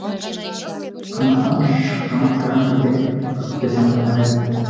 қамақтан шыққан қыран бірден көкке самғамайды